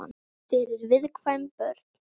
Fyrir viðkvæm börn.